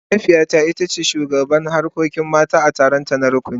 Mahaifiyata ita ce shugabar harkokin mata a taronta na rukuni.